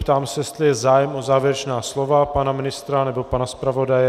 Ptám se, jestli je zájem o závěrečná slova pana ministra nebo pana zpravodaje.